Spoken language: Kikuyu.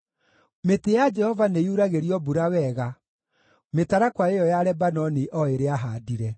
Mĩtĩ ya Jehova nĩyuragĩrio mbura wega, mĩtarakwa ĩyo ya Lebanoni o ĩrĩa aahaandire.